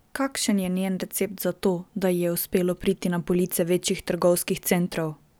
Kakšen je njen recept za to, da ji je uspelo priti na police večjih trgovskih centrov?